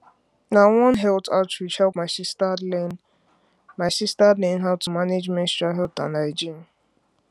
na one health outreach help my sister learn my sister learn how to manage menstrual health and hygiene